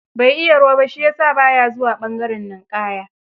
Bai iya ruwa ba, shi ya sa ba ya zuwa ɓangaren ninƙaya.